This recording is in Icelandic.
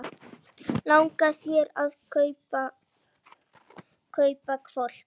Langar þig að kaupa hvolp?